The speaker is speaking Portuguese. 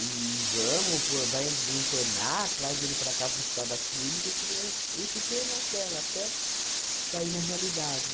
e vamos, po vai internar, traz ele para cá para o hospital das clínicas que ele é e fiquei naquela até cair na realidade.